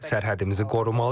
Sərhədimizi qorumalıyıq.